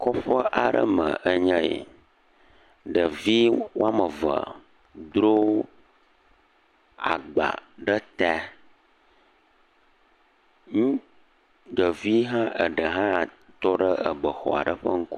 Kɔƒe aɖe me enye yi. Ɖevi ame eve dro agba ɖe ta, ŋut… ɖevi eɖe hã tɔ ɖe ebe xɔ aɖe ŋku…